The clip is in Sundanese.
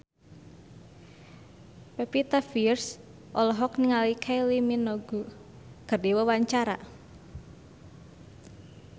Pevita Pearce olohok ningali Kylie Minogue keur diwawancara